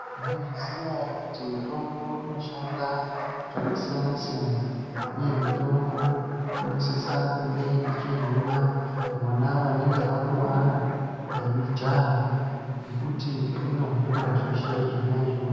Mwaizviziya ere kuti mutombo inoshanda zvakasiyana siyana uye mutombo inosisa kunge ichihina vona vanenge vakuwara veijaha ngekuti inohina zveshe zvona izvozvo.